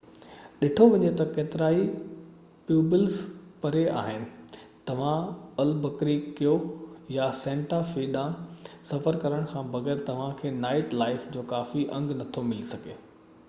ڏٺو وڃي ته ڪيترائي پيوبولز پري آهن توهان البُڪريڪيو يا سينٽا في ڏانهن سفر ڪرڻ کان بغير توهانکي نائيٽ لائيف جو ڪافي انگ نٿو ملي سگهي